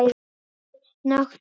Stúlkan leit snöggt upp.